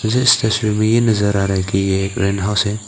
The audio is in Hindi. जिस तस्वीर मे ये नजर आ रहा है की ये एक रेंट हाउस है।